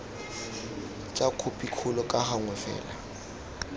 tsa khopikgolo ka gangwe fela